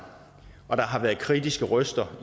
og der har været kritiske røster